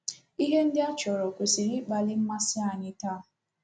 Ihe ndị a a chọrọ kwesịrị ịkpali mmasị anyị taa.